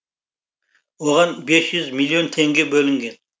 оған бес жүз миллион теңге бөлінген